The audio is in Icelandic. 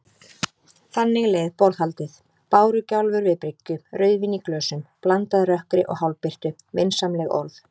Þannig leið borðhaldið: bárugjálfur við bryggju, rauðvín í glösum, blandað rökkri og hálfbirtu, vinsamleg orð.